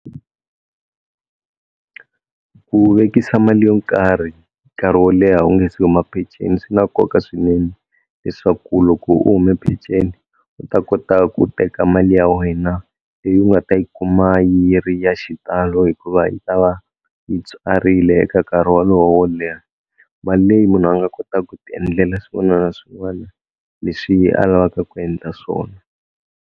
Ku vekisa mali yo karhi nkarhi wo leha u nge se huma peceni swi na koka swinene, leswaku loko u hume peceni u ta kota ku teka mali ya wena leyi u nga ta yi kuma yi ri ya xitalo hikuva yi ta va yi tswarile eka nkarhi wolowo wo leha, mali leyi munhu a nga kota ku ti endlela swin'wana na swin'wani leswi a lavaka ku endla swona.